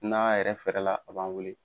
N'a yɛrɛ fɛrɛ la a b'an wele.